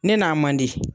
Ne n'a man di